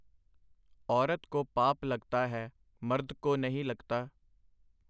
ਔਰਤ ਕੋ ਪਾਪ ਲਗਤਾ ਹੈ ? ਮਰਦ ਕੋ ਨਹੀਂ ਲਗਤਾ ?”.